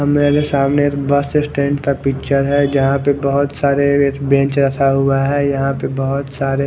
कमरा के सामने एक बस स्टैंड का पिक्चर है जहा पर बहोत सारे बेंच रखा हुआ है यहाँ पर बहोत सारे--